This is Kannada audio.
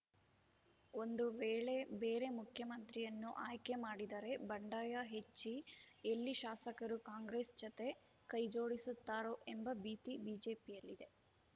ಒಂದು ವೇಳೆ ಬೇರೆ ಮುಖ್ಯಮಂತ್ರಿಯನ್ನು ಆಯ್ಕೆ ಮಾಡಿದರೆ ಬಂಡಾಯ ಹೆಚ್ಚಿ ಎಲ್ಲಿ ಶಾಸಕರು ಕಾಂಗ್ರೆಸ್‌ ಜತೆ ಕೈಜೋಡಿಸುತ್ತಾರೋ ಎಂಬ ಭೀತಿ ಬಿಜೆಪಿಯಲ್ಲಿದೆ